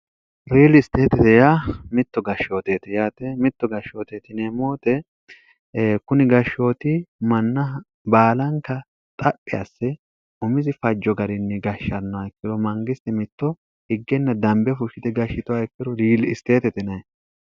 riili isteetete ya mitto gashshooteeti yaate mitto gashshootetine moote kuni gashshooti manna baalanka xaphi asse umizi fajjo garinni gashshanno ikkilo mangisti mitto higgenna dambe fushshite gashshitowa ikkiro riili isteete tinee